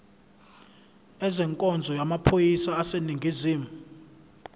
ezenkonzo yamaphoyisa aseningizimu